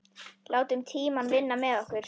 Látum tímann vinna með okkur.